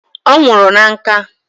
O nwuru na nka